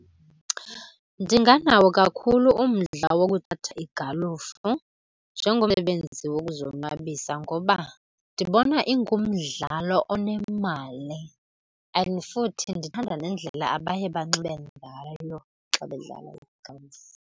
Ndinganawo kakhulu umdla wokuthatha igalufa njengomsebenzi wokuzonwabisa ngoba ndibona ingumdlalo onemali, and futhi ndithanda nendlela abaye banxibe ngayo xa bedlala igalufa.